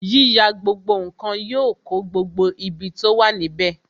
Yíyà gbogbo nkan yọ kó gbogbo ibi tó wà níbè